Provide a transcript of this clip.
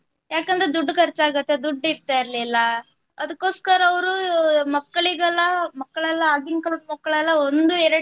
ಯಾಕಂದ್ರೆ ದುಡ್ಡು ಕರ್ಚಾಗತ್ತೆ ದುಡ್ಡು ಇರ್ತ ಇರ್ಲಿಲ್ಲ ಅದಕ್ಕೋಸ್ಕರ ಅವ್ರು ಮಕ್ಳಿಗೆಲ್ಲ ಮಕ್ಳೆಲ್ಲ ಆಗಿನ್ ಕಾಲದ ಮಕ್ಳೆಲ್ಲ ಒಂದು ಎರಡು